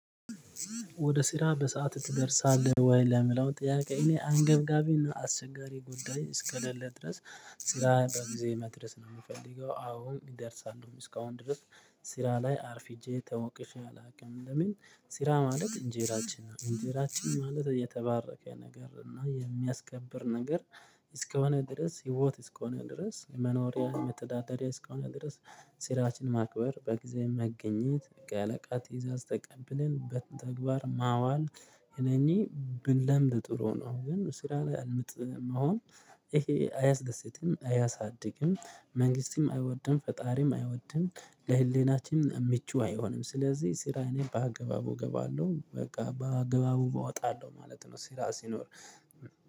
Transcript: ወደ ስራ በሰአት ትደርሳለህ ወይ? ለምላው ጥያቄ እኔ አንገብጋቢና አስቸጋሪ ጉዳይ እስከሌለ ድረስ ስራ በጊዜ መድረስ ነው የምፈልገው አሁን እደርሳለሁ እስካሁን ድረስ ስራ ላይ አርፍጄ ተወቅሼ አላውቅም ለምን ስራ ማለት እንጀራችን ነው እንጀራችን ማለት የተባረከ ነገር ነው እና የሚያስከብር ነገር እስከሆነ ድረስ ህይወት እስከሆነ ድረስ መኖሪያ መተዳደሪያ እስከሆነ ድረስ ስራችንን ማክበር በጊዜ መገኘት የአለቃ ትይዛዝ ተቀብለን በተግባር ማዋል እነኚህ ብንለምድ ጥሩ ነው ግን ስራ ላይ አልምጥ መሆን ይሄ አያስደስትም፣ አያሳድግም፣ መንግስትም አይወድም፣ ፈጣሪም አይወድም፣ ለህሊናችንም ምቹ አይሆንም ስለዚህ ስራ እኔ በአገባቡ እገባለሁ በቃ በአገባቡ እወጣለሁ ማለት ነው ስራ ሲኖር።